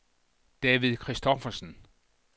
David Christophersen